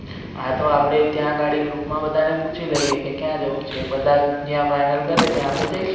હા તો આપણે ત્યા અગાડી ગ્રુપ મા બધા ને પુછી લઈએ કે ક્યા જવુ છે બધા જ્યા final કરે ત્યા આપણે જઈશુ